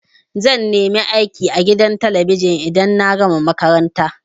Zan nemi aiki a gidan talabijin idan na gama makaranta.